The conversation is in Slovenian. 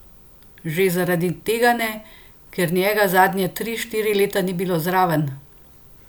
Že zaradi tega ne, ker njega zadnja tri, štiri leta ni bilo zraven.